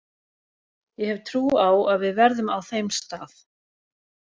Ég hef trú á að við verðum á þeim stað.